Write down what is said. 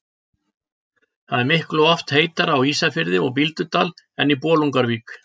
það er miklu oftar heitara á ísafirði og bíldudal en í bolungarvík